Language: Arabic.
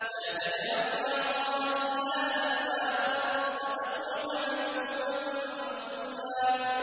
لَّا تَجْعَلْ مَعَ اللَّهِ إِلَٰهًا آخَرَ فَتَقْعُدَ مَذْمُومًا مَّخْذُولًا